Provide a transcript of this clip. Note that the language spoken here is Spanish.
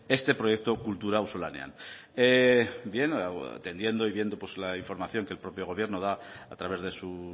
este proyecto kultura auzolanean bien atendiendo y viendo la información que el propio gobierno da a través de su